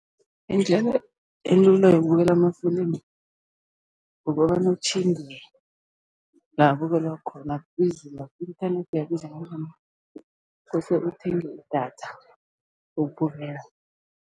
Indlela elula yokubukela amafilimu, kukobana utjhinge la abukelwa khona akubizi, i-inthanethi iyabiza ukhohlwe ukuthenga idatha lokubukela.